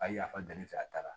A ye yafa danni fɛ a taara